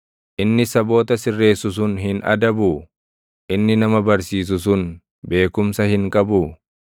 Inni saboota sirreessu sun hin adabuu? Inni nama barsiisu sun beekumsa hin qabuu?